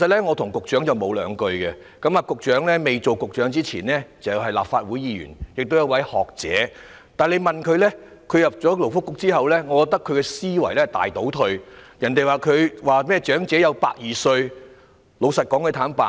我與局長不甚熟稔，局長加入政府前是立法會議員，也是學者，但我認為他進入勞工及福利局後思維大倒退，竟說出甚麼長者有120歲壽命的話。